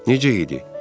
Necə idi?